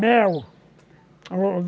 Mel.